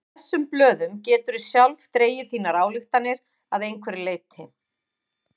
Af þessum blöðum geturðu sjálf dregið þínar ályktanir að einhverju leyti.